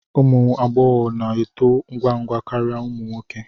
Ụmụ agbọghọ na-eto ngwa ngwa karịa ụmụ nwoke